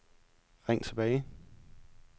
ring tilbage